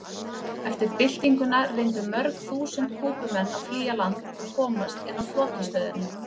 Eftir byltinguna reyndu mörg þúsund Kúbumenn að flýja land og komast inn á flotastöðina.